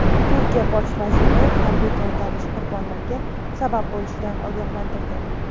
Turkiya bosh vaziri harbiy to‘ntarish qurbonlarga sabab bo‘lishidan ogohlantirdi.